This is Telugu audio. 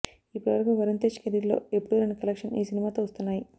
ఇప్పటి వరకు వరుణ్ తేజ్ కెరీర్లో ఎప్పుడు రాని కలెక్షన్స్ ఈ సినిమాతో వస్తున్నాయి